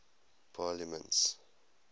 parliaments